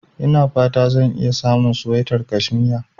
Ina fata zan iya samun suwaitar kashmiya.